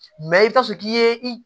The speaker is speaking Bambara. Mɛ i bɛ t'a sɔrɔ k'i ye i